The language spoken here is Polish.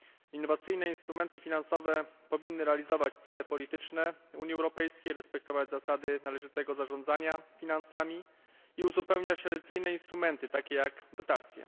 Innowacyjne instrumenty finansowe powinny realizować cele polityczne Unii Europejskiej, respektować zasady należytego zarządzania finansami i uzupełniać tradycyjne instrumenty takie jak dotacje.